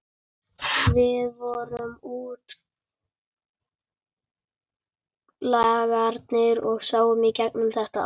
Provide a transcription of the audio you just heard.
Við vorum útlagarnir og sáum í gegnum þetta allt.